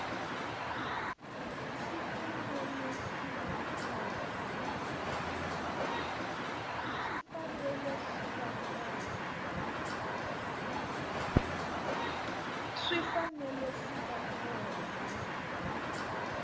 swi fanele swi va kona